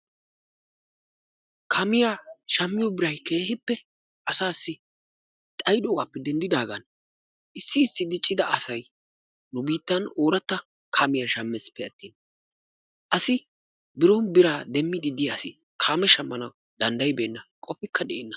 Kaamiya shammiya birayi asaassi keehippe xayidoogaappe denddidaagan issi issi diccida asayi nu biittan ooratta kaamiya shammiisppe attin asi biron bira demmiiddi de"iya asi kaame ahammanawu danddayibeenna qofikka de"enna.